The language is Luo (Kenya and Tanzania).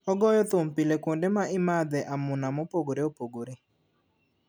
Ogoyo thum pile kuonde ma imadhe amuna mopogore opogore